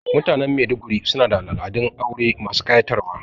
Mutanen Maiduguri su na da al'adun aure masu ƙayatarwa